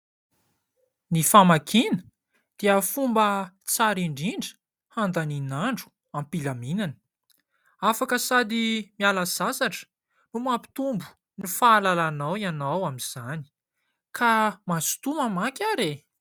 Ny famakiana dia fomba tsara indrindra handanian'andro ampilaminana, afaka sady miala sasatra no mampitombo ny fahalalanao ianao amin'izany, ka mazotoa mamaky ary e!